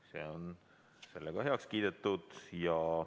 See on heaks kiidetud.